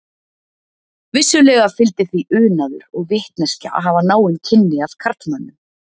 Vissulega fylgdi því unaður og vitneskja að hafa náin kynni af karlmönnum.